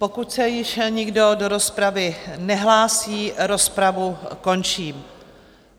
Pokud se již nikdo do rozpravy nehlásí, rozpravu končím.